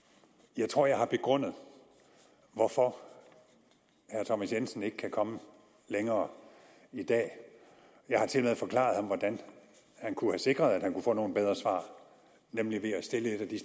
jeg tror at jeg har begrundet hvorfor herre thomas jensen ikke kan komme længere i dag jeg har tilmed forklaret ham hvordan han kunne have sikret at han kunne få nogle bedre svar nemlig ved at stille et af de